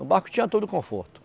No barco tinha todo conforto.